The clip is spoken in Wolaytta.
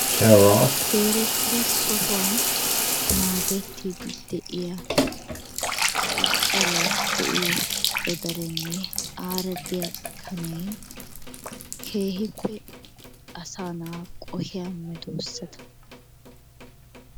zeeretira sohuwaan naagetiddi de'iyaa cacaray de'iyoo godarenne aara de'iyaa kaanay keehipe asaa na'aa qohiyaa meedoosata.